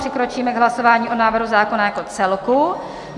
Přikročíme k hlasování o návrhu zákona jako celku.